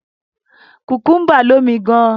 Kùkúḿbà lómi gan.